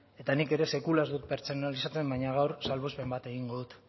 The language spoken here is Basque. eta nik ere sekula ez dut pertsonalizatzen baina gaur salbuespen bat egingo dut